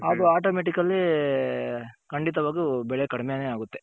ಅದು Automatically ಅಲ್ಲಿ ಖಂಡಿತವಾಗ್ಲು ಬೆಳೆ ಕಡ್ಮೇನೆ ಆಗುತ್ತೆ.